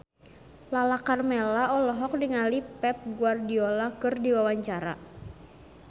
Lala Karmela olohok ningali Pep Guardiola keur diwawancara